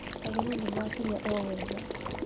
Ageni nĩmakinya owega